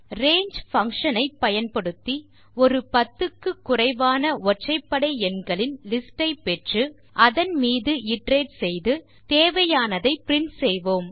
range function ஐ பயன்படுத்தி ஒரு 10 க்கு குறைவான ஒற்றைப்படை எண்களின் லிஸ்ட் ஐ பெற்று அதன் மீது இட்டரேட் செய்து தேவையானதை பிரின்ட் செய்வோம்